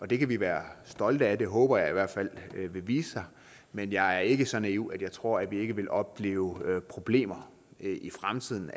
det kan vi være stolte af det håber jeg i hvert fald vil vise sig men jeg er ikke så naiv at jeg tror at vi ikke vil opleve problemer i fremtiden